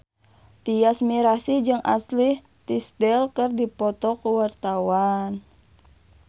Tyas Mirasih jeung Ashley Tisdale keur dipoto ku wartawan